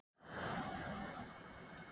Þrír leikmenn eru með sex mörk.